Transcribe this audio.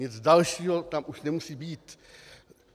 Nic dalšího tam už nemusí být.